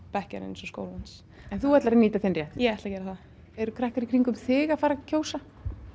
bekkjarins og skólans en þú ætlar að nýta þinn rétt ég ætla að gera það eru krakkar í kringum þig að fara að kjósa